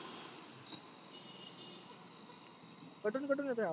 कटुन कटून येतोय आवाज